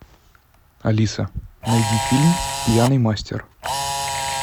алиса найди фильм пьяный мастер